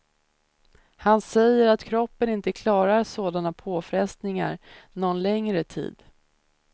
Han säger att kroppen inte klarar sådana påfrestningar någon längre tid.